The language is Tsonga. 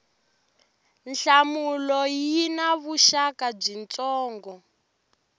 nhlamulo yi na vuxaka byitsongo